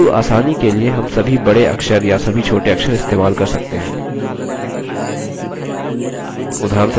किन्तु आसानी के लिए हम सभी बड़े अक्षर या सभी छोटे अक्षर इस्तेमाल कर सकते हैं